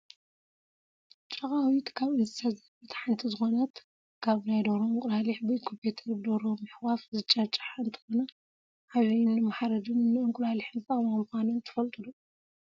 ጫቃዊት ካብ እንስሳ ዘቤት ሓንቲ ዝኮነት ካብ ናይ ደርሆ እንቁላሊሕ ብኢኩፔተርን ብደርሆ ምሕቃፍ ዝጭጫሓ እንትኮና፣ ዓብየን ንመሓረድን ንእንቁላሊሕን ዝጠቅማ ምኳነን ትፈልጡ ዶ?